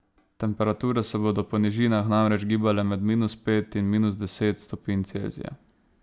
Temperature se bodo po nižinah namreč gibale med minus pet in minus deset stopinj Celzija.